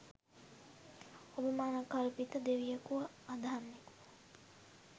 ඔබ මනංකල්පිත දෙවියෙකු අදහන්නෙකු